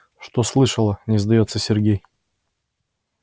что слышала не сдаётся сергей